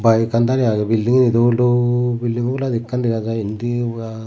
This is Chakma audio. bike ekkan darey aagey bildinggani dol dol bilding oboladi ekkan degajai indi ba.